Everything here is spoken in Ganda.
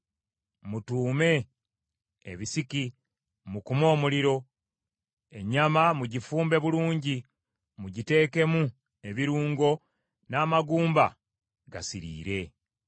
Mutuume ebisiki, mukume omuliro, ennyama mugifumbe bulungi, mugiteekemu ebirungo, n’amagumba gasiriire.